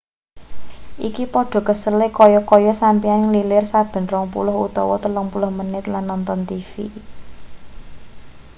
iki padha kesele kaya-kaya sampeyan nglilir saben rong puluh utawa telung puluh menit lan nonton tv